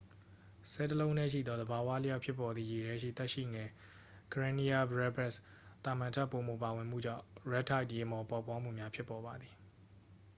ဆဲလ်တစ်လုံးတည်းရှိသော သဘာဝအလျောက် ဖြစ်ပေါ်သည့် ရေထဲရှိ သက်ရှိငယ် karenia brevis သာမန်ထက် ပိုမိုပါဝင်မှုကြောင့် red tideရေမှော်ပေါက်ဖွားမှုများ ဖြစ်ပေါ်ပါသည်။